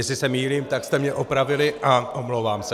Jestli se mýlím, tak jste mě opravili a omlouvám se.